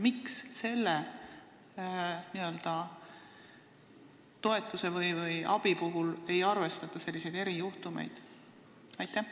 Miks selle toetuse puhul ei arvestata selliseid erijuhtumeid?